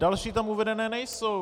Další tam uvedené nejsou.